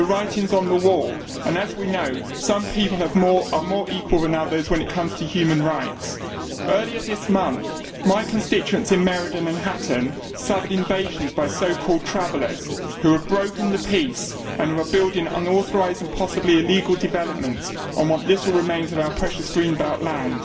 The writing is on the wall and, as we know, some people are more equal than others when it comes to human rights. Earlier this month, my constituents in Meriden and Hatton suffered invasions by so called travellers', who have broken the peace and who are building unauthorised and possibly illegal developments on what little remains of our precious green belt land.